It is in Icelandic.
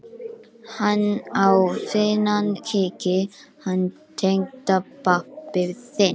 Hann á fínan kíki, hann tengdapabbi þinn.